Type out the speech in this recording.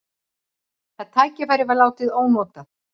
Það tækifæri var látið ónotað.